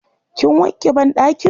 Kin wanke banɗakin?